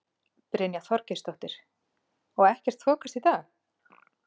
Brynja Þorgeirsdóttir: Og ekkert þokast í dag?